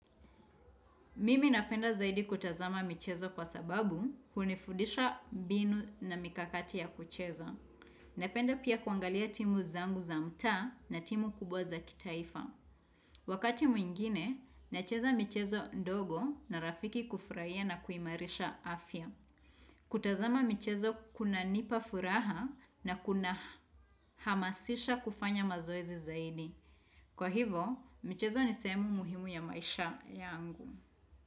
Mimi napenda zaidi kutazama michezo kwa sababu hunifudisha binu na mikakati ya kucheza. Napenda pia kuangalia timu zangu za mtaa na timu kubwa za kitaifa. Wakati mwingine, nacheza michezo ndogo na rafiki kufraia na kuimarisha afya. Kutazama michezo kunanipa furaha na kunahamasisha kufanya mazoezi zaidi. Kwa hivo, michezo ni sehemu muhimu ya maisha yangu.